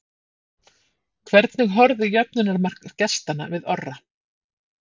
Hvernig horfði jöfnunarmark gestanna við Orra?